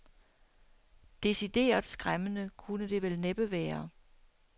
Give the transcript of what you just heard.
Decideret skræmmende kunne det vel næppe være.